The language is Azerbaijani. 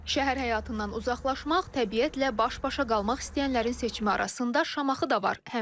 Şəhər həyatından uzaqlaşmaq, təbiətlə baş-başa qalmaq istəyənlərin seçimi arasında Şamaxı da var.